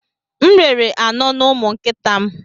M rere anọ n'ụmụ nkịta m.